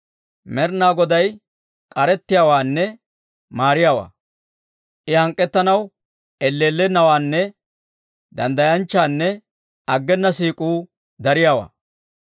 Med'inaa Goday k'arettiyaawaanne maariyaawaa; I hank'k'ettanaw elleellennawaanne; danddayanchchanne aggena siik'uu dariyaawaa.